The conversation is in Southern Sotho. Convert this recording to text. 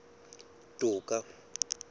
toka